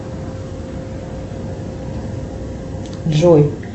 джой